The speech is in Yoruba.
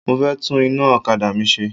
Mo fẹ́ tún iná okada mi ṣe.